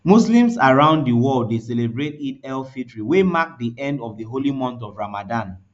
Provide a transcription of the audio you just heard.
muslims around di world dey celebrate eidelfitr wey mark di end of di holy month of ramdan